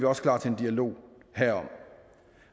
også klar til en dialog herom